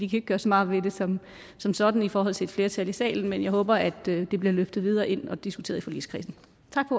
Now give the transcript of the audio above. kan gøre så meget ved det som som sådan i forhold til et flertal i salen men jeg håber at det bliver løftet videre ind og diskuteret i forligskredsen